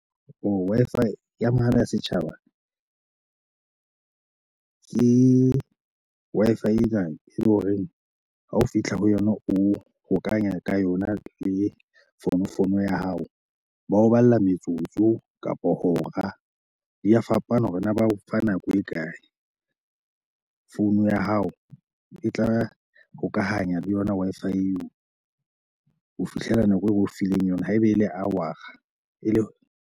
Wi-Fi ya mahala ya setjhaba ke Wi-Fi e tlang e leng horeng ha o fihla ho yona o hokanya ka yona le fonofono ya hao. Ba o balla metsotso kapo hora di a fapana hore na ba o fa nako e kae. Phone ya hao e tla hokahanya le yona Wi-Fi eo ho fihlela nako e be o fileng yona. Haeba e le r a e le .